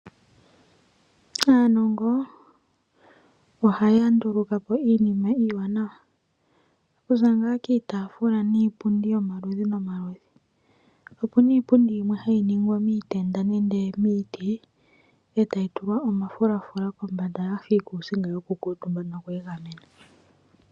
Aanongo oha ya nduluka po iinima iiwanawa . Okuza kiitaafula niipundi yomaludhi omawanawa. Opuna iipundi yimwe hayi ningwa miitenda nenge miiti etayi tulwa omafulafula kombanda yafa iikuusinga yoku kuutumbwa noku egamena.